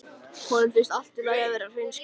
Honum finnst allt í lagi að vera hreinskilinn.